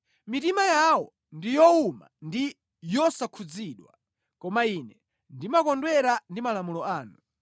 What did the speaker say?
Mitima yawo ndi yowuma ndi yosakhudzidwa, koma ine ndimakondwera ndi malamulo anu.